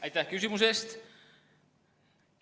Aitäh küsimuse eest!